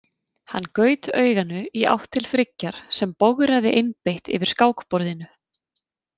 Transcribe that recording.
Hann gaut auganu í átt til Friggjar sem bograði einbeitt yfir skákborðinu.